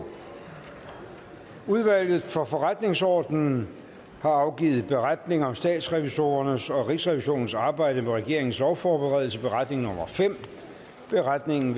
udvalget for forretningsordenen har afgivet beretning om statsrevisorernes og rigsrevisionens arbejde med regeringens lovforberedelse beretningen beretningen